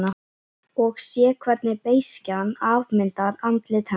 Og sé hvernig beiskjan afmyndar andlit hennar.